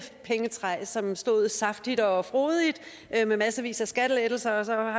pengetræ som stod saftigt og frodigt med massevis af skattelettelser og